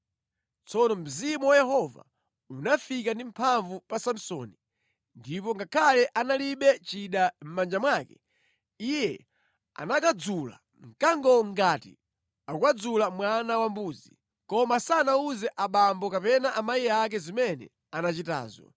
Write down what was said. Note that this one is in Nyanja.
Tsono Mzimu wa Yehova unafika ndi mphamvu pa Samsoni ndipo ngakhale analibe chida mʼmanja mwake, iye anakadzula mkangowo ngati akukadzula mwana wambuzi. Koma sanawuze abambo kapena amayi ake zimene anachitazo.